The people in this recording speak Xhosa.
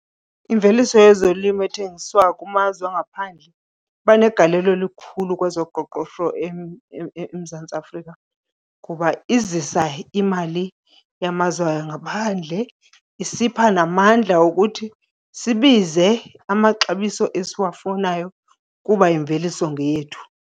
Imveliso yezolimo ethengiswa kumazwe angaphandle iba negalelo elikhulu kwezoqoqosho eMzantsi Afrika, kuba izisa imali yamazwe angaphandle, isipha namandla okuthi sibize amaxabiso esiwafunayo kuba imveliso ngeyethu.